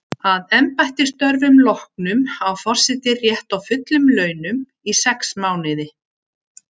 Að embættisstörfum loknum á forseti rétt á fullum launum í sex mánuði.